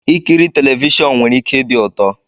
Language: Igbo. Ikiri telivishọn nwere ike ịdi ụtọ